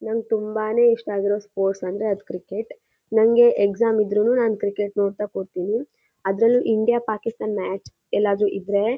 ನಂಗೆ ತುಂಬಾನೇ ಇಷ್ಟ ಆಗಿರೋ ಸ್ಪೋರ್ಟ್ಸ್ ಅಂದ್ರೆ ಅದು ಕ್ರಿಕೆಟ್ ನಂಗೆ ಎಕ್ಸಾಮ್ ಇದ್ರೂನು ಕ್ರಿಕೆಟ್ ನೋಡತಾ ಕುರ್ತಿನಿ. ಅದ್ರಲ್ಲೂ ಇಂಡಿಯಾ ಪಾಕಿಸ್ತಾನ ಮ್ಯಾಚ್ ಎಲ್ಲಾದ್ರೂ ಇದ್ರೆ--